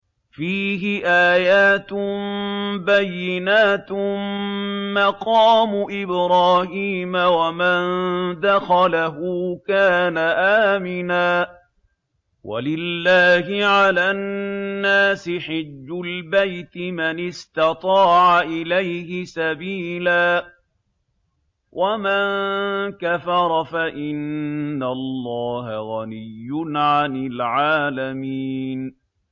فِيهِ آيَاتٌ بَيِّنَاتٌ مَّقَامُ إِبْرَاهِيمَ ۖ وَمَن دَخَلَهُ كَانَ آمِنًا ۗ وَلِلَّهِ عَلَى النَّاسِ حِجُّ الْبَيْتِ مَنِ اسْتَطَاعَ إِلَيْهِ سَبِيلًا ۚ وَمَن كَفَرَ فَإِنَّ اللَّهَ غَنِيٌّ عَنِ الْعَالَمِينَ